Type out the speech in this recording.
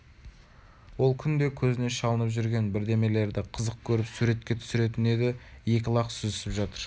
ол күнде көзіне шалынып жүрген бірдемелерді қызық көріп суретке түсіретін еді екі лақ сүзісіп жатыр